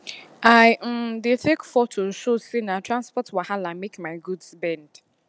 i um dey take photo show say na transport wahala make my goods bend